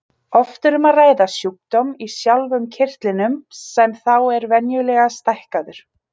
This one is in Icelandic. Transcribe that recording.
Oft er um að ræða sjúkdóm í sjálfum kirtlinum sem þá er venjulega stækkaður.